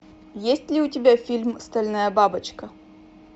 есть ли у тебя фильм стальная бабочка